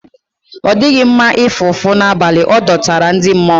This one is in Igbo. Ọ dịghị nma ịfụ ụfụ n'abalị, ọ dọtara ndị mmụọ.